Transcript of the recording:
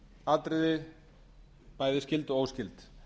atriði bæði skyld og óskyld